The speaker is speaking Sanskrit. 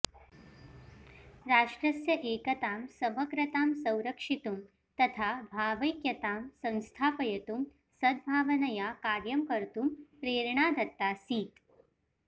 राष्ट्रस्य एकतां समग्रतां संरक्षितुं तथा भावैक्यतां संस्थापयितुं सद्भावनया कार्यं कर्तुं प्रेरणा दत्ताऽसीत्